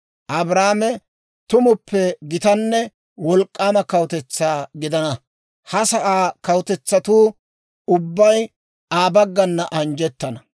Abrahaame tumuppe gitanne wolk'k'aama kawutetsaa gidana; ha sa'aa kawutetsatuu ubbay Aa baggana anjjettana.